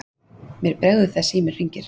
Mér bregður þegar síminn hringir.